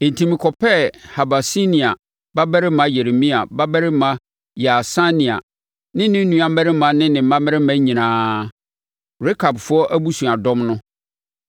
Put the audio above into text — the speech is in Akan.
Enti, mekɔpɛɛ Habasinia babarima Yeremia babarima Yaasania ne ne nuammarima ne ne mmammarima nyinaa, Rekabfoɔ abusuadɔm no.